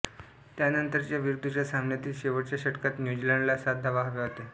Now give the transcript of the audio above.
त्यानंतरच्या विरुद्धच्या सामन्यातील शेवटच्या षटकात न्यू झीलँडला सात धावा हव्या होत्या